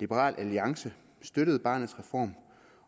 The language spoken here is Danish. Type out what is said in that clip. liberal alliance støttede barnets reform